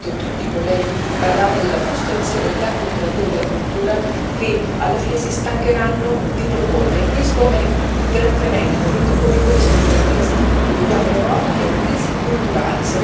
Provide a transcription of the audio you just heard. Avete sentito che tutti i colleghi parlavano della frustrazione di tanti operatori della cultura che alla fine si stancheranno di proporre questo è tremendo, in un momento come questo, della crisi che viviamo in Europa, che è una crisi culturale